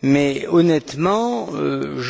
Mais, honnêtement, nous